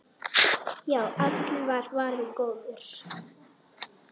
Já, allur var varinn góður!